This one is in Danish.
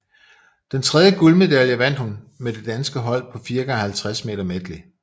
Den tredje guldmedalje vandt hun med det danske hold på 4x50 meter medley